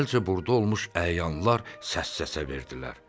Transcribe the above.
Əvvəlcə burda olmuş əyanlar səs-səsə verdilər.